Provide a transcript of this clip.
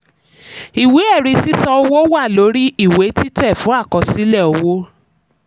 ìwé ẹ̀rí sísan owó wà lórí ìwé títẹ̀ fún àkọsílẹ̀ owó.